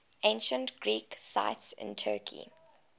ancient greek sites in turkey